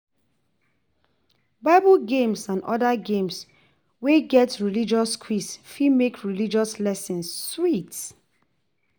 Bible games and oda games wey get religious quiz fit make religious lesson sweet